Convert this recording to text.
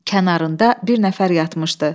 Kənarında bir nəfər yatmışdı.